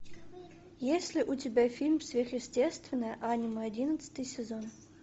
есть ли у тебя фильм сверхъестественное аниме одиннадцатый сезон